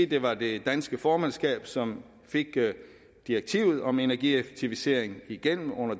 det var det danske formandskab som fik direktivet om energieffektivisering igennem under